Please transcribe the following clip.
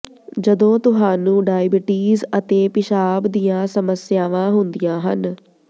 ਜਦੋਂ ਤੁਹਾਨੂੰ ਡਾਇਬੀਟੀਜ਼ ਅਤੇ ਪਿਸ਼ਾਬ ਦੀਆਂ ਸਮੱਸਿਆਵਾਂ ਹੁੰਦੀਆਂ ਹਨ